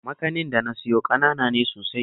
Makanin da na siyo ƙanana ne sosai